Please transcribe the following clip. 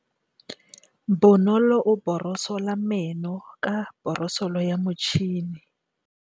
Bonolô o borosola meno ka borosolo ya motšhine.